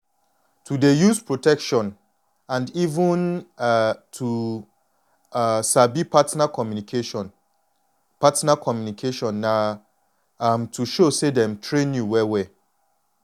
to dey use protection and even um to um sabi partner communication communication na um to show say dem train you well wel